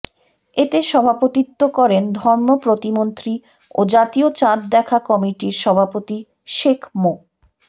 এতে সভাপতিত্ব করেন ধর্ম প্রতিমন্ত্রী ও জাতীয় চাঁদ দেখা কমিটির সভাপতি শেখ মো